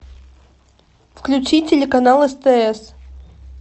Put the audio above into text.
включи телеканал стс